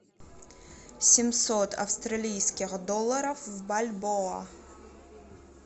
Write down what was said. семьсот австралийских долларов в бальбоа